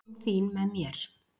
árin þín með mér